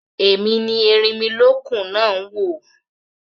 Èmi ni erinmilókun náà ń wò